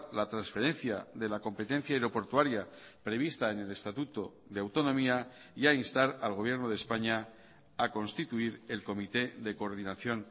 la transferencia de la competencia aeroportuaria prevista en el estatuto de autonomía y a instar al gobierno de españa a constituir el comité de coordinación